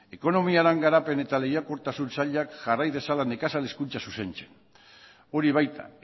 ekonomiaren garapen eta lehiakortasun sailak jarrai dezala nekazal hezkuntza zuzentzen hori baita